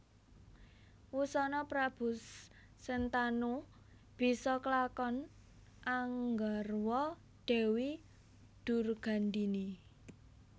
Wusana Prabu Sentanu bisa kelakon anggarwa Dewi Durgandini